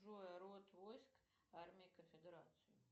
джой род войск армии конфедерации